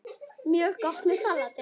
Mjög gott með salati.